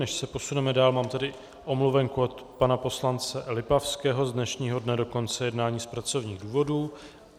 Než se posuneme dál, mám tady omluvenku od pana poslance Lipavského z dnešního dne do konce jednání z pracovních důvodů.